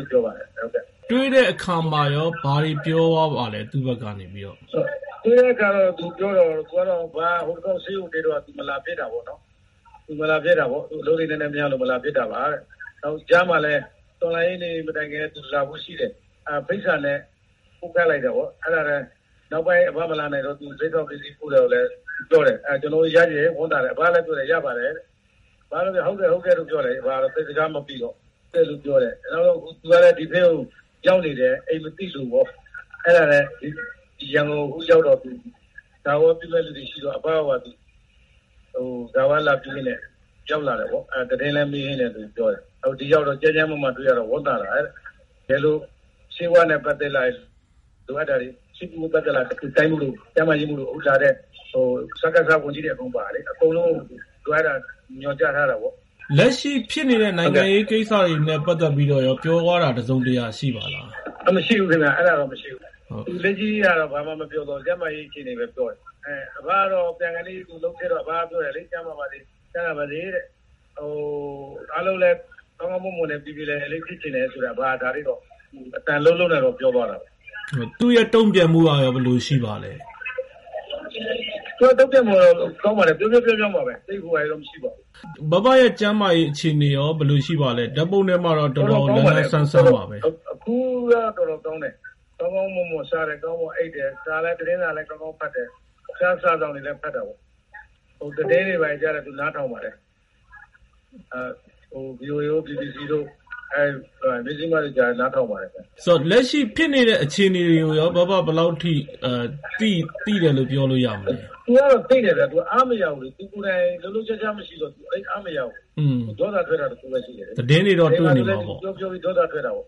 ုပြောပါတယ်။ တွေ့တဲ့အခါမှာရော ဘာတွေပြောသွားပါလဲ သူ့ဘက်ကနေပြီးတော့။ တွေ့တဲ့အခါ သူပြောတာတော့ အဘ ဟိုတလောက ဆေးရုံတက်တုန်းက သူ မလာဖြစ်တာပေါ့နော်၊ သူ အလုပ်လေး နည်းနည်းများလို့ မလာဖြစ်တာပါတဲ့၊ ကြားမှာလည်း တော်လှန်ရေးနေ့ မတိုင်ခင် သူလာဖို့ရှိတယ်။ အဲဒါ ဖိတ်စာနဲ့ ပို့ခိုင်းလိုက်တာပေါ့။ နောက်ပိုင်း အဘမလာနိုင်တော့ သူ လက်ဆောင်ပစ္စည်း ပို့တာကိုလည်း ပြောတယ်။ အဲဒါ ကျနော်တို့ရတယ်၊ ဝမ်းသာတယ်၊ အဘလည်း ပြောတယ် ရပါတယ်တဲ့။ အဘကတော့ ဟုတ်ကဲ့ ဟုတ်ကဲ့လို့ ပြောတယ်၊ သိပ်စကားမပီတော့။ သူကလည်း ဒီဘက်ကို ရောက်နေတယ်၊ အိမ်မသိလို့ပေါ့။ အဲဒါနဲ့ ဒီရန်ကုန်ကို အခုရောက်တော့ ဂါရဝပြုမယ့်သူတွေရှိတော့ အဘကိုပါ သူ ဂါရဝလာပြုရင်းနဲ့ ရောက်လာတယ်ပေါ့။ သတင်းလည်း မေးရင်းနဲ့လို့ ပြောတယ်။ ဒီရောက်တော့ ကျန်းကျန်းမာမာတွေ့ရတာ ဝမ်းသာတယ်တဲ့။ တကယ်လို့ ဆေးဝါးနဲ့ ပတ်သက်လာရင် လိုအပ်တာတွေ ဆေးကုသဖို့ လိုအပ်လာရင် တိုင်းမှူးတို့ ကျန်းမာရေးမှူးတို့ အခုလာတဲ့ စကစဝန်ကြီးတွေ အကုန်ပါတယ်လေ၊ အကုန်လုံးကို လိုအပ်တာ သူ ညွှန်ကြားထားတယ်ပေါ့။ လက်ရှိဖြစ်နေတဲ့ နိုင်ငံရေးကိစ္စတွေနဲ့ ပတ်သက်ပြီးတော့ရော ပြောသွားတာ တစုံတရာ ရှိပါသလား။ မရှိဘူးခင်ဗျ၊ အဲဒါတော့ မရှိဘူး။ လက်ရှိဟာတော့ ဘာမှမပြောသွားဘူး၊ ကျန်းမာရေး အခြေအနေပဲ ပြောတယ်။ အဘကတော့ ပြန်ခါနီး သူနှုတ်ဆက်တော့ အဘက ပြောတယ်၊ ကျန်းမာပါစေ၊ ချမ်းသာပါစေတဲ့၊ အားလုံးလည်း ကောင်းကောင်းမွန်မွန်နဲ့ ပြေပြေလည်လည်လေး ဖြစ်ချင်တယ်ဆိုတာ အဘက ဒါလေးတော့ အသံလုံးလုံးနဲ့တော့ ပြောသွားတာပဲ။ သူ့ရဲ့တုံ့ပြန်မှုကရော ဘယ်လိုရှိပါသလဲ။ သူ့ရဲ့ တုံ့ပြန်မှုကတော့ ကောင်းပါတယ်၊ ပြုံးပြုံး ပြုံးပြုံး ပါပဲ။ ဘဘရဲ့ ကျန်းမာရေး အခြေအနေရော ဘယ်လိုရှိပါသလဲ၊ ဓာတ်ပုံထဲမှာတော့ တော်တော် လန်းလန်းဆန်းဆန်းပါပဲ။ အခုက တော်တော်ကောင်းတယ်၊ ကောင်းကောင်းမွန်မွန်စားတယ်၊ ကောင်းကောင်းမွန်မွန်အိပ်တယ်။ သတင်းစာလည်း ကောင်းကောင်းဖတ်တယ်။ တခြားစာစောင်တွေလည်း ဖတ်တာပေါ့။ သတင်းတွေ ဘာတွေတော့ သူနားထောင်ပါတယ်။ ဗွီအိုအေတို့၊ ဘီဘီစီတို့၊ မဇ္ဈိမတို့ နားထောင်ပါတယ်။ လက်ရှိ ဖြစ်နေတဲ့ အခြေအနေတွေကိုရော ဘဘ ဘယ်လောက်ထိ သိတယ်လို့ ပြောလို့ရမလဲ။ သူကတော့ သိတယ်ဗျ၊ သူက အားမရဘူးလေ၊ သူကိုယ်တိုင် လှုပ်လှုပ်ရှားရှား မရှိတော့ သိပ်အားမရဘူး။ မပြောတာ ပြောတာ တခုပဲရှိတယ်။ ဒီမှာဆိုလည်း သူ ပြောပြောပြီး ဒေါသထွက်တာပေါ့